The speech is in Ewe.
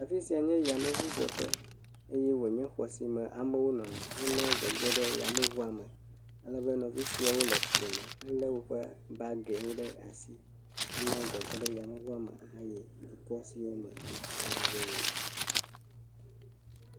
Afi sia nye yameŋudzeƒe eye wonye xɔ si me amewo nɔna hene gege ɖe yameŋua me ale be nɔvi siawo le fli me hele woƒe bagi wo ɖe asi hene gege ɖe yameŋua me hayi dukɔ si me wo katã woyina.